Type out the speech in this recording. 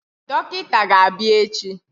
Dọkịta ga-abịa echi.